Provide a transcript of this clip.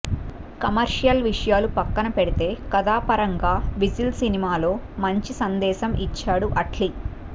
commercial విషయాలు పక్కన పెడితే కథాపరంగా విజిల్ సినిమాలో మంచి సందేశం ఇచ్చాడు అట్లీ